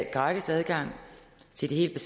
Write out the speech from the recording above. gratis adgang til de helt